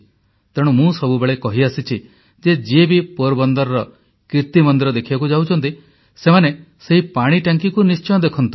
ତେଣୁ ମୁଁ ସବୁବେଳେ କହିଆସିଛି ଯେ ଯିଏ ବି ପୋରବନ୍ଦରର କିର୍ତ୍ତୀ ମନ୍ଦିର ଦେଖିବାକୁ ଯାଉଛନ୍ତି ସେମାନେ ସେହି ପାଣି ଟାଙ୍କିକୁ ନିଶ୍ଚୟ ଦେଖନ୍ତୁ